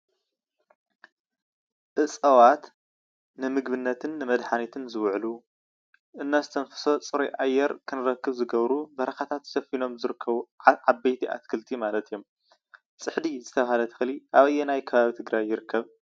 እፀዋት ንምግብነትን መድሓንትነትን ዝውዕሉ እነስተንፍሶ ፅሩይ ኣየር ክንረክብ ዝገብሩ በረካታት ሰፊሮም ዝርከቡ ዓበይቲ ኣክልቲ ማለት እዮም። ፅሒዲ ዝተባህለ ተክሊ ኣበየናይ ኣከባቢ ትግራይ ይርከብ?